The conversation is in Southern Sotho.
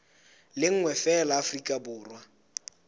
le nngwe feela afrika borwa